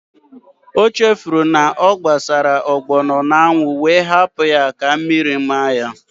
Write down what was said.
O chefuru na ọ gbasara ọgbọnọ n'anwụ wee hapụ ya ka mmiri maa ya